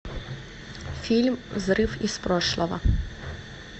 фильм взрыв из прошлого